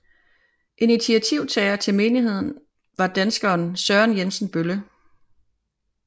Initiativtager til menigheden var danskeren Søren Jensen Bølle